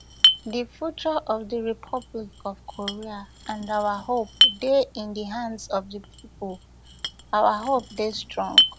di future of di republic of korea and our hope dey in di hands of di pipo our hope dey strong